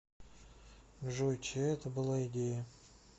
джой чья это была идея